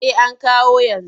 Eh an kawo yanzu.